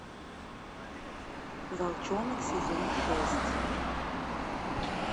волчонок сезон шесть